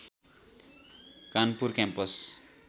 Kanpur campus